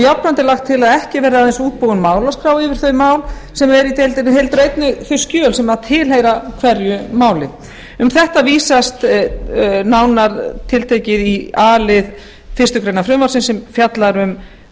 jafnframt er lagt til að ekki verði aðeins útbúin málaskrá yfir þau mál sem eru í deildinni heldur einnig þau skjöl sem tilheyra hverju máli um þetta vísast nánar tiltekið í a lið fyrstu grein frumvarpsins sem fjallar um